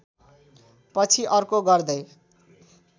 पछि अर्को गर्दै